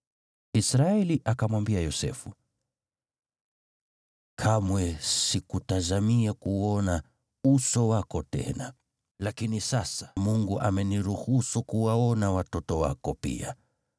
Israeli akamwambia Yosefu, “Kamwe sikutazamia kuuona uso wako tena, lakini sasa Mungu ameniruhusu kuwaona watoto wako pia.”